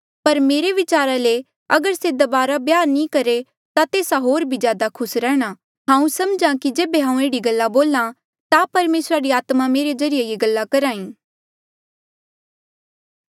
पर मेरे विचारा ले अगर से दबारा ब्याह नी करहे ता तेस्सा होर भी ज्यादा खुस रहणा हांऊँ सम्झहा कि जेबे हांऊँ एह्ड़ी गल्ला बोल्हा ता परमेसरा री आत्मा मेरे ज्रीए ये गल्ला करही